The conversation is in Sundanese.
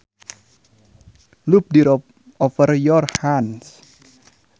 Loop the rope over your hands